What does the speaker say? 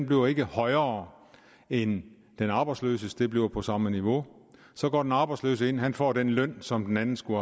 bliver ikke højere end den arbejdsløses det bliver på samme niveau så går den arbejdsløse ind og han får den løn som den anden skulle